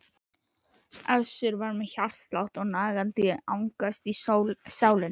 Össur var með hjartslátt og nagandi angist í sálinni.